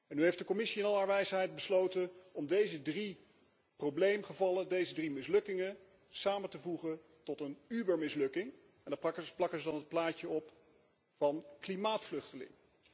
Nu heeft de Commissie in al haar wijsheid besloten deze drie probleemgevallen, deze drie mislukkingen samen te voegen tot een Übermislukking en daar plakt ze dan het plaatje op van klimaatvluchteling.